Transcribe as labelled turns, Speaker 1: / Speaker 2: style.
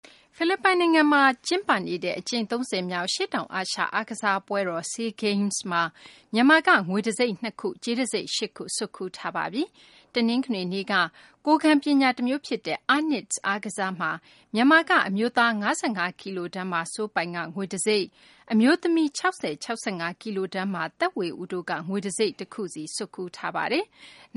Speaker 1: ဖိလစ်ပိုင်နိုင်ငံမှာ ကျင်းပနေတဲ့ အကြိမ် ၃၀ မြောက် အရှေ့တောင်အာရှ အားကစားပွဲတော် SEA Games မှာ မြန်မာက ငွေတံဆိပ် ၂ ခု၊ ကြေးတံဆိပ် ၈ ခု ဆွတ်ခူးထားပါတယ်။ တနင်္ဂနွေနေ့က ကိုယ်ခံပညာ အားကစားတမျိုးဖြစ်တဲ့ အားနစ်စ် (Arnis) အားကစားမှာ မြန်မာက အမျိုးသား ၅၅ ကီလိုတန်းမှာ စိုးပိုင်က ငွေတံဆိပ်၊ အမျိုးသမီး ၆၀-၆၅ ကီလိုတန်းမှာ သက်ဝေဦးတို့က ငွေတံဆိပ်တခုဆီ ဆွတ်ခူးထားပါတယ်။